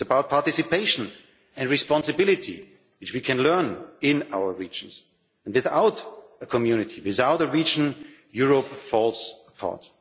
it is about participation and responsibility which we can learn in our regions. Without a community, without a region, Europe falls apart.